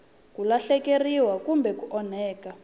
ku lahlekeriwa kumbe ku onhaka